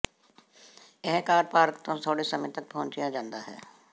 ਇਹ car park ਤੋਂ ਥੋੜ੍ਹੇ ਸਮੇਂ ਤੱਕ ਪਹੁੰਚਿਆ ਜਾਂਦਾ ਹੈ